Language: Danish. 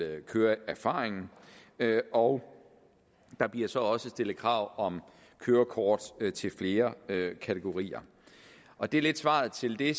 køreerfaring og der bliver så også stillet krav om kørekort til flere kategorier og det er lidt svaret til det